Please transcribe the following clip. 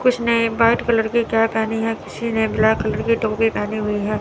कुछ ने white colour के कैप पहनी है किसी ने ब्लैक कलर की टोपी पहनी हुई है।